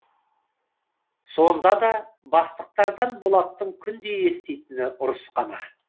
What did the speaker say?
сонда да бастықтардан болаттың күнде еститіні ұрыс қана